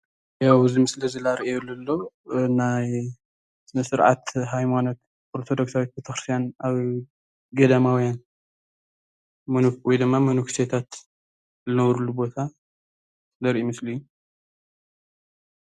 ያው እዚ ምስሊ እዚ ዘርእዮ ለሎ ናይ ስነስርዓት ሃይማኖት ኦርቶዶክስዊት ቤተክርስትያን ኣብ ገዳማውያን ወይ መነኩሴታት ዝነብሩሉ ቦታ ዘርኢ ምስሊ እዩ።